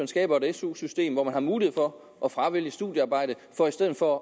skaber et su system hvor man har mulighed for at fravælge studiearbejde for i stedet for